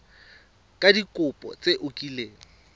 ka dikopo tse o kileng